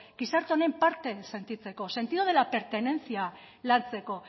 gizarte honen parte sentitzeko sentido de la pertenencia lantzeko